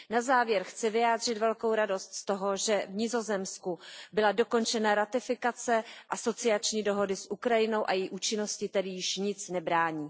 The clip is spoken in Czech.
Na závěr chci vyjádřit velkou radost z toho, že v Nizozemsku byla dokončena ratifikace asociační dohody s Ukrajinou a její účinnosti tedy již nic nebrání.